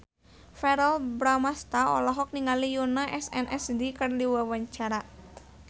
Verrell Bramastra olohok ningali Yoona SNSD keur diwawancara